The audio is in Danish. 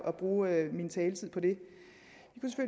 at bruge min taletid på det